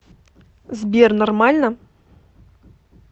сбер нормально